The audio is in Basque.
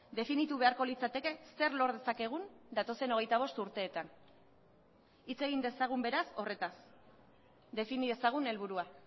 definitu beharko litzateke zer lor dezakegun datozen hogeita bost urteetan hitz egin dezagun beraz horretaz defini dezagun helburua